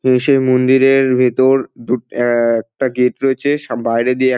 এ সেই মন্দিরের ভেতর দুট অ্যা এক-ক-টা গেট রয়েছে সা বাইরে দিয়ে এক--